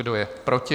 Kdo je proti?